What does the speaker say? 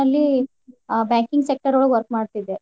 ಅಲ್ಲಿ banking sector ಒಳಗ್ work ಮಾಡ್ತಿದ್ದೆ.